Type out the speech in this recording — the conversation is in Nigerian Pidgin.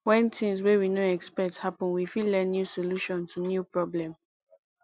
when things wey we no expect happen we fit learn new solution to new problem